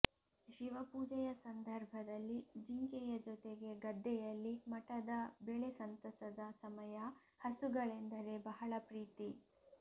ಶಿವಪೂಜೆಯ ಸಂದರ್ಭದಲ್ಲಿ ಜಿಂಕೆಯ ಜೊತೆಗೆ ಗದ್ದೆಯಲ್ಲಿ ಮಠದ ಬೆಳೆ ಸಂತಸದ ಸಮಯ ಹಸುಗಳೆಂದರೆ ಬಹಳ ಪ್ರೀತಿ